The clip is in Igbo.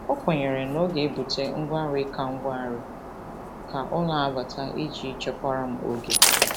O kwenyere na ọ ga-ebute ngwa nri ka ngwa nri ka ọ na-abata iji wee chekwaara m oge.